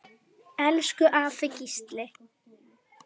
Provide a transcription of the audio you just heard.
Elsku afi Gísli.